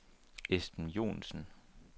Esben Joensen